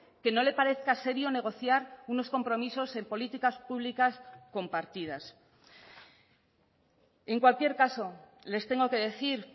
que no le parezca serio negociar unos compromisos en políticas públicas compartidas en cualquier caso les tengo que decir